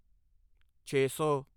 ਛੇ ਸੌ